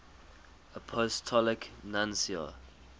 apostolic nuncios